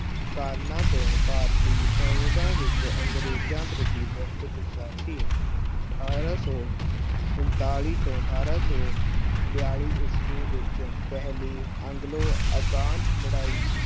ਕਾਰਨਾਂ ਤੋਂ ਭਾਰਤੀ ਸੈਨਿਕਾਂ ਵਿੱਚ ਅੰਗਰੇਜ਼ਾਂ ਪ੍ਰਤੀ ਬਹੁਤ ਗੁੱਸਾ ਸੀ ਅਠਾਰਾਂ ਸੌ ਉਣਤਾਲੀ ਤੋਂ ਅਠਾਰਾਂ ਬਿਆਲੀ ਈਸਵੀ ਵਿੱਚ ਪਹਿਲੀ ਐਗਲੋ ਅਫਗਾਨ ਲੜਾਈ